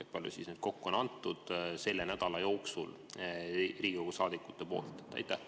Kui palju siis neid kokku on antud selle nädala jooksul Riigikogu saadikute poolt?